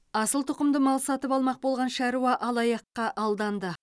асыл тұқымды мал сатып алмақ болған шаруа алаяққа алданды